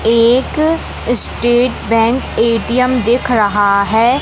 एक state bank A T M दिख रहा है।